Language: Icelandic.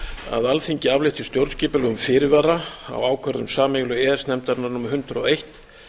að alþingi aflétti stjórnskipulegum fyrirvara á ákvörðun sameiginlegu e e s nefndarinnar númer hundrað og eitt